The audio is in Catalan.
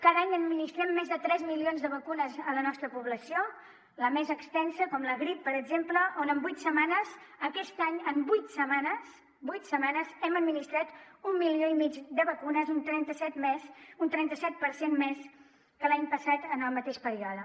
cada any administrem més de tres milions de vacunes a la nostra població la més extensa la grip per exemple on en vuit setmanes aquest any en vuit setmanes vuit setmanes hem administrat un milió i mig de vacunes un trenta set per cent més que l’any passat en el mateix període